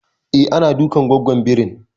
E, ana dukan gwaggon birin